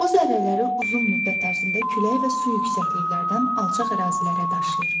Bu zərrələri uzun müddət ərzində külək və su yüksəkliklərdən alçaq ərazilərə daşıyır.